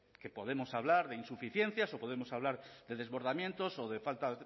que podemos hablar de insuficiencias o podemos hablar de desbordamientos o de falta